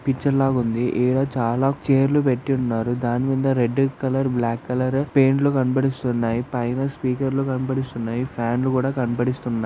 Picture లాగుంది ఈడ చాలా ఛైర్లు పెట్టున్నారు దాని మీద రెడ్ కలర్ బ్లాక్ కలర్ పెయింట్లు కనబడిస్తున్నాయి పైన స్పీకర్లు కనిపిస్తున్నాయి ఫ్యాన్లు కూడా కనబడిస్తున్నాయి.